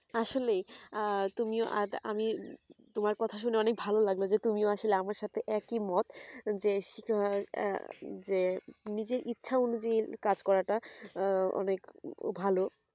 আসলে আঃ তুমি আজ আমি তোমার কথা শুনে অনেক ভালো লাগলো যে তুমি আসলে আমার সাথে একই মত যে আহ আহ যে নিজের ইচ্ছা অনুযায়ী কাজ করাটা অনেক ভালো